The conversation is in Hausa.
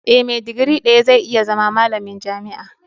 Eh, me digiri daya zai iya zama malamin jami'a.